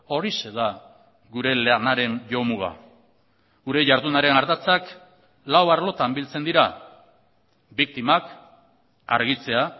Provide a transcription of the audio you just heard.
horixe da gure lanaren jomuga gure jardunaren ardatzak lau arlotan biltzen dira biktimak argitzea